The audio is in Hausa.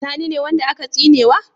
Sani ne wanda aka tsinewa?